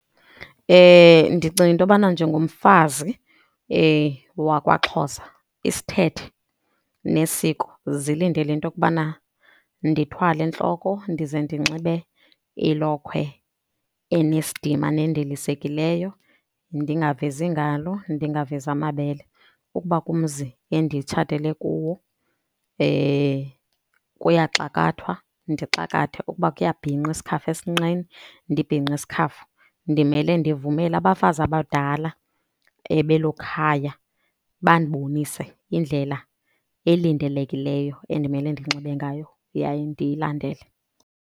Ndicinga into yobana njengomfazi wakwaXhosa isithethe nesiko zilindele into yokubana ndithwale entloko ndize ndinxibe ilokhwe enesidima nendilisekileyo, ndingavezi iingalo, ndingavezi amabele. Ukuba kumzi enditshatele kuwo kuyaxakwathwa ndixakathe, ukuba kuyabhinqwa isikhafu esinqeni ndibhinqe isikhafu. Ndimele ndivumela abafazi abadala belo khaya bandibonise indlela elindelekileyo endimele ndinxibe ngayo yaye ndiyilandele.